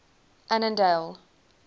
annandale